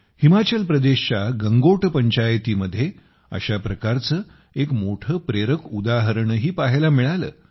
हिमाचल प्रदेशच्या गंगोट पंचायतीमध्ये अशा प्रकारचं एक मोठं प्रेरक उदाहरणही पाहायला मिळालं